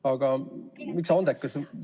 Aga miks andekas?